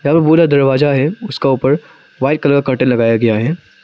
दरवाजा है उसका ऊपर व्हाइट कलर का लगाया गया है।